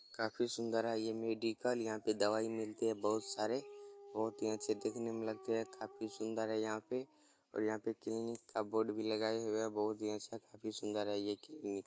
काफी सुंदर है यह मेडिकल यहाँ पे दवाई मिलती है बहुत सारे बहुत ही अच्छे दिखने मे लगते है काफी सुंदर है यहाँ पे और यहाँ पे क्लिनिक का बोर्ड भी लगाया हुआ है बहुत ही अच्छा काफी सुंदर है ये क्लिनिल ।